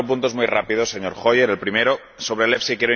Cuatro puntos muy rápidos, señor Hoyer. El primero, sobre el EFSI.